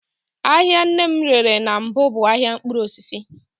Ahịa nne m rere na mbụ bụ ahịa mkpụrụosisi